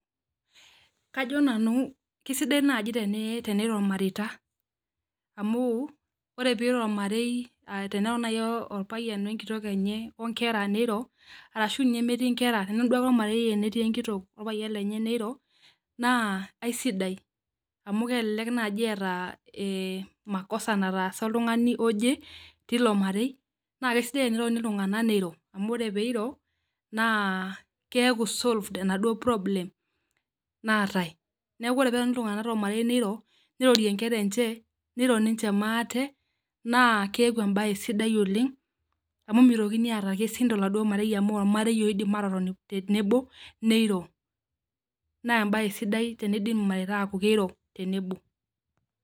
Kajo nanu kisidai naaji teneiro irmareita amu wore teneiro ormarei teneiro naaji orpayian wee enkitok enye oo nkera neiro arashu ninye metii inkera netoni ake duo ormarei netii enkitok orpayian lenye neiro naa aisidai amu kelelek naaji eata eh makosa naatasa oltungani oje tilo marei naa kisidai ake tenetoni iltunganak niro amu wore pee iro naa keaku solved enaduo problem naatae neaku ore pee etoni iltunganak tolmarei niro nirorie nkera enche niro ninche maate naa keaku ebae sidai oleng amu mitokini aata irkesin tolmarei amu ormarei oidim atotoni tenebo niro naa ebae sidai teneaku kiro irmareita tenebo.